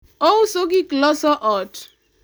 ouso gik loso ot